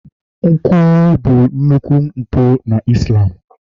nkwulu bụ nnukwu mpụ na Islam